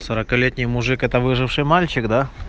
сорокалетний мужик это выживший мальчик да